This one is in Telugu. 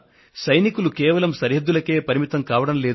సైనికోద్యోగులు కేవలం మన దేశ సరిహద్దులనే కాపలా కాస్తుంటారు నిజమే